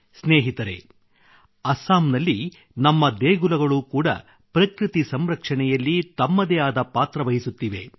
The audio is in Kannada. ಸ್ನೇಹಿತರೆ ಅಸ್ಸಾಂನಲ್ಲಿ ನಮ್ಮ ದೇಗುಲಗಳು ಕೂಡ ಪ್ರಕೃತಿ ಸಂರಕ್ಷಣೆಯಲ್ಲಿ ತಮ್ಮದೇ ಆದ ಪಾತ್ರವಹಿಸುತ್ತಿವೆ